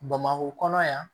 Bamakɔ kɔnɔ yan